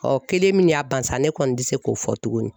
kelen min y'a ban sa ne kɔni tɛ se k'o fɔ tuguni